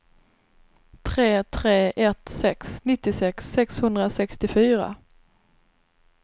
tre tre ett sex nittiosex sexhundrasextiofyra